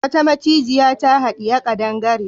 Wata macijiya ta haɗiye kadangare.